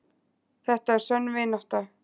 Þetta er sönn vinátta.